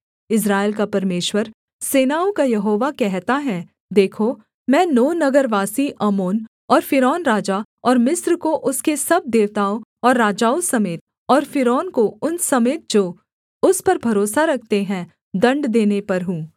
इस्राएल का परमेश्वर सेनाओं का यहोवा कहता है देखो मैं नो नगरवासी आमोन और फ़िरौन राजा और मिस्र को उसके सब देवताओं और राजाओं समेत और फ़िरौन को उन समेत जो उस पर भरोसा रखते हैं दण्ड देने पर हूँ